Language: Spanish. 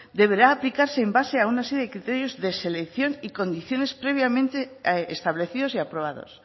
deberá aplicarse en base a una serie de criterios de selección y condiciones previamente establecidos y aprobados